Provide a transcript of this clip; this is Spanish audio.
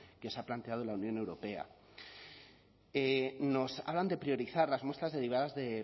que se ha planteado la unión europea nos hablan de priorizar las muestras derivadas de